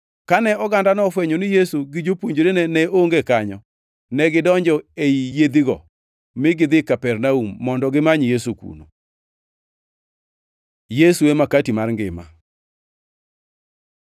Kane ogandano ofwenyo ni Yesu gi jopuonjrene ne onge kanyo, negidonjo ei yiedhigo, mi gidhi Kapernaum, mondo gimany Yesu kuno. Yesu e makati mar ngima